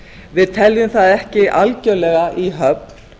við teljum það ekki algjörlega í höfn